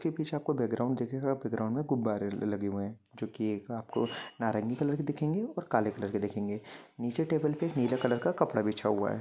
उसके पीछे आपको बेक ग्राउंड दिखे गुबारे लगे हे जो आपको नर्गी कलर के और काले कलर के दिखेंगे नीचे के टेबल के कपड़ा बिछा हुआ है।